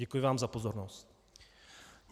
Děkuji vám za pozornost.